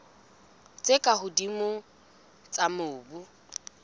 tse ka hodimo tsa mobu